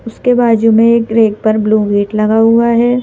उसके बाजू में एक ब्रेक पर ब्लू गेट लगा हुआ है।